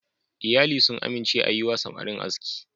Iyali sun amince a yi wa samarin aski.